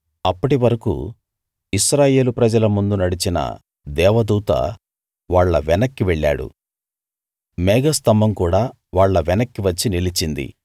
అప్పటి వరకూ ఇశ్రాయేలు ప్రజల ముందు నడిచిన దేవదూత వాళ్ళ వెనక్కి వెళ్ళాడు మేఘస్తంభం కూడా వాళ్ళ వెనక్కి వచ్చి నిలిచింది